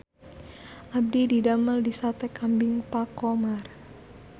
Abdi didamel di Sate Kambing Pak Khomar